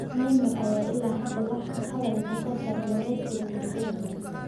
Neymar ayaan ilaa hadda wax hadal ah ka soo saarin waraysiga telefishinka.